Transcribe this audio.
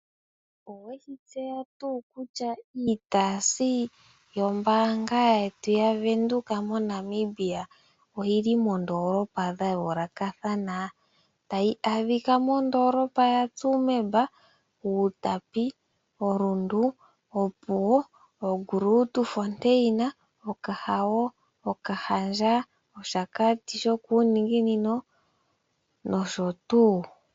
Oweshitseya tuu kutya iitaasi goombaanga yetu yaWindhoek oyili moondolopa dha yoolokathana? Tayi adhikwa mondoolopa yaTsumeb, Outapi, Rundu, Opuwo, Grootfontein, Okahao, Okahandja, Capricorn, Hakuti north nosho tuu.